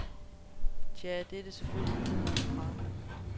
Tja, det er det selvfølgelig i en eller anden grad.